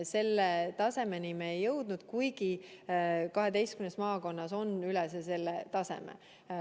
Selle tasemeni me ei jõudnud, kuigi 12 maakonnas on see üle selle taseme.